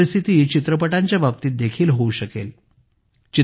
अशीच परिस्थिती चित्रपटांच्या बाबतीत देखील होऊ शकेल